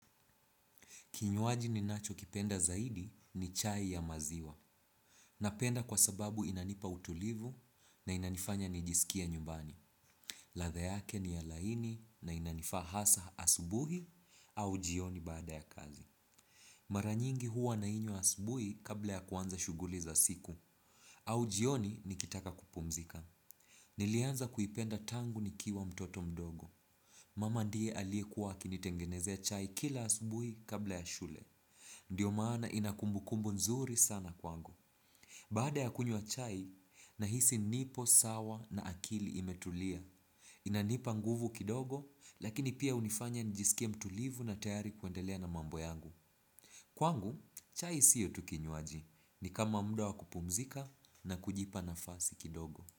Kinywaji ninacho kipenda zaidi ni chai ya maziwa. Napenda kwa sababu inanipa utulivu na inanifanya nijisikia nyumbani. Ladha yake ni ya laini na inanifaa hasa asubuhi au jioni baada ya kazi. Mara nyingi huwa nainywa asubuhi kabla ya kuanza shughuli za siku. Au jioni nikitaka kupumzika. Nilianza kuipenda tangu nikiwa mtoto mdogo. Mama ndiye aliye kuwa akinitengenezea chai kila asubuhi kabla ya shule. Ndiyo maana inakumbukumbu nzuri sana kwangu. Baada ya kunywa chai, nahisi nipo sawa na akili imetulia. Inanipa nguvu kidogo, lakini pia hunifanya nijisikie mtulivu na tayari kuendelea na mambo yangu. Kwangu, chai siyo tu kinywaji. Ni kama muda wa kupumzika na kujipa nafasi kidogo.